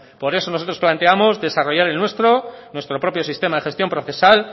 por eso nosotros planteábamos desarrollar el nuestro nuestro propio sistema de gestión procesal